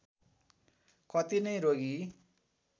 कति नै रोगी